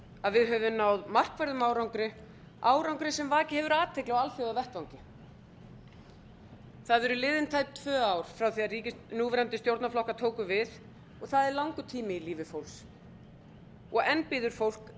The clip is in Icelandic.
að við höfum náð markverðum árangri árangri sem vakið hefur athygli á alþjóðavettvangi það eru liðin tæp tvö ár frá því að núverandi stjórnarflokkar tóku við og það er langur tími í lífi fólks og enn bíður fólk